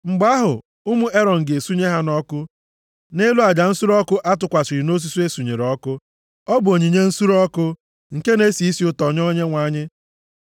Mgbe ahụ, ụmụ Erọn ga-esunye ha ọkụ nʼelu aja nsure ọkụ a tụkwasịrị nʼosisi e sunyere ọkụ, ọ bụ onyinye nsure ọkụ, nke na-esi isi ụtọ nye Onyenwe anyị.